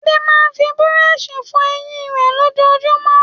Adé máa ń fi búrọ́ṣì fọ eyín rẹ̀ lójoojúmọ́.